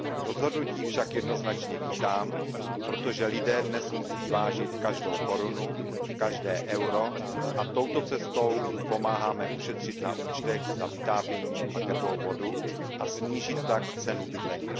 Rozhodnutí však jednoznačně vítám, protože lidé dnes musí vážit každou korunu, každé euro, a touto cestou jim pomáháme ušetřit na účtech za vytápění a teplou vodu a snížit tak cenu bydlení.